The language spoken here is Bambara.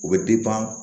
O bɛ